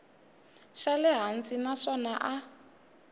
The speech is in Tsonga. xa le hansi naswona a